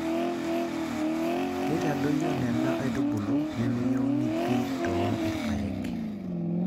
Keitadoyio Nena aitubulu nemeyieuni pii too irpaek.